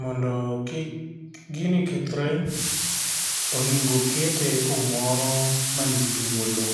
Mondo kik gini kethre, onego kete kumoro manthuolo.